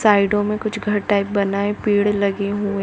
Side मे कुछ घर टाइप बना है पेड़ लगे हुए है।